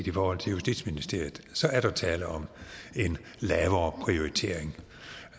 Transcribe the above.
i forhold til justitsministeriet er tale om en lavere prioritering